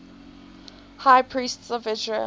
high priests of israel